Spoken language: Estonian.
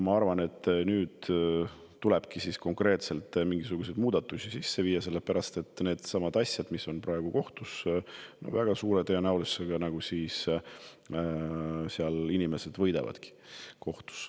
Ma arvan, et mingisugused muudatused tuleb nüüd sisse viia, sellepärast et needsamad asjad, mis on praegu kohtus – väga suure tõenäosusega seal inimesed võidavadki.